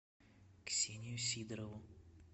ксению сидорову